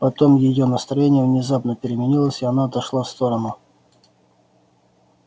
потом её настроение внезапно переменилось и она отошла в сторону